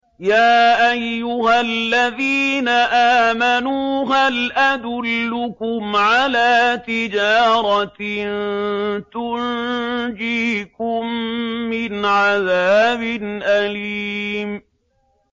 يَا أَيُّهَا الَّذِينَ آمَنُوا هَلْ أَدُلُّكُمْ عَلَىٰ تِجَارَةٍ تُنجِيكُم مِّنْ عَذَابٍ أَلِيمٍ